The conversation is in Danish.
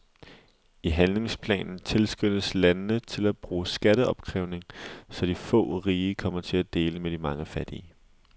I handlingsplanen tilskyndes landene til at bruge skatteopkrævning, så de få rige kommer til at dele med de mange fattige.